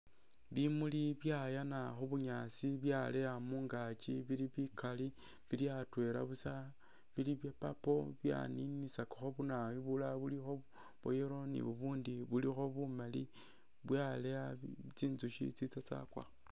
Bimuli byayaana khubunyaasi byaleya mungaki bili bikali bili atwela busa bili bya purple byaninisakakho bunayo bulala bulikho bwayellow ni bubundi bulikho bumali byaleya tsinzukhi tsitsa tsakwakho